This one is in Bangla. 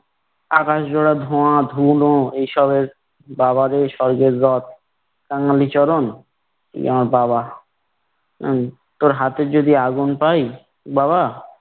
আকাশ জোড়া ধোয়া ধুলো এইসবের বাওয়াজে স্বর্গের রথ কাঙালিচরণ ইয়া বাবা আহ তোর হাতে যদি আগুন পাই বাবা